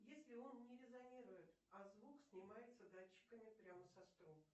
если он не резонирует а звук снимается датчиками прямо со струн